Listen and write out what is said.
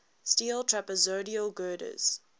steel trapezoidal girders